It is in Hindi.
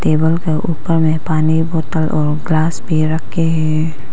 टेबल का ऊपर में पानी बोतल और ग्लास भी रखे हैं।